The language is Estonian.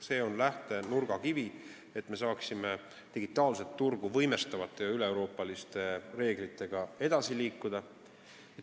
See on nurgakivi, et me saaksime digitaalset turgu võimestavate üleeuroopaliste reeglitega edasi liikuda.